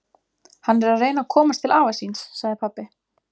Hann er að reyna að komast til afa síns, sagði pabbi.